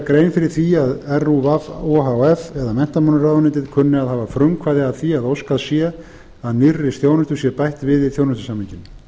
grein fyrir því að rúv o h f eða menntamálaráðuneytið kunni að hafa frumkvæði að því að óskað sé að nýrri þjónustu sé bætt við í þjónustusamninginn